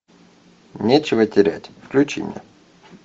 нечего терять включи мне